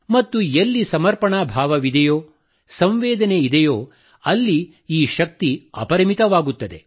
ಮತ್ತು ಎಲ್ಲಿ ಸಮರ್ಪಣಾ ಭಾವವಿದೆಯೋ ಸಂವೇದನೆ ಇದೆಯೋ ಅಲ್ಲಿ ಈ ಶಕ್ತಿ ಅಪರಿಮಿತವಾಗುತ್ತದೆ